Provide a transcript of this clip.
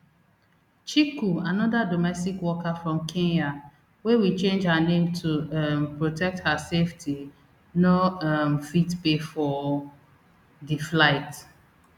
chiku anoda domestic worker from kenya wey we change her name to um protect her safety no um fit pay for di flight